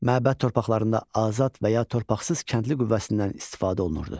Məbəd torpaqlarında azad və ya torpaqsız kəndli qüvvəsindən istifadə olunurdu.